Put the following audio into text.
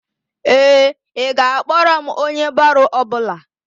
Ee, ị ga-akpọrọ m onye baro ọbụla.